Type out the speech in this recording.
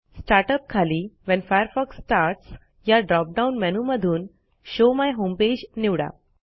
start up खालीWhen Firefox starts या drop down menu मधून शो माय होम पेज निवडा